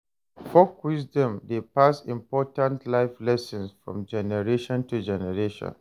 Folk wisdom dey pass important life lessons from generation to generation.